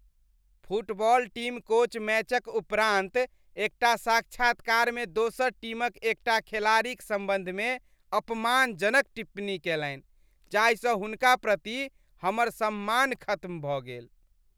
Football team coach मैचक उपरान्त एकटा साक्षात्कारमे दोसर टीमक एकटा खेलाड़ीक सम्बन्धमे अपमानजनक टिप्पणी केलनि, जाहिसँ हुनका प्रति हमर सम्मान खत्म भऽ गेल।